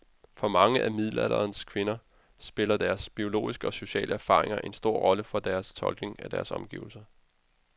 For mange af middelalderens kvinder spillede deres biologiske og sociale erfaringer en stor rolle for deres tolkning af deres omgivelser.